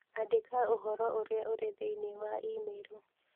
Andĩka ũhoro ũrĩa ũrĩ thĩinĩ wa i-mīrū